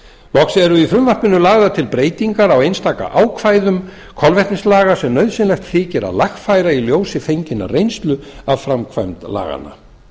loks eru í frumvarpinu lagðar til breytingar á einstaka ákvæðum kolvetnislaga sem nauðsynlegt þykir að lagfæra í ljósi fenginnar reynslu af framkvæmd laganna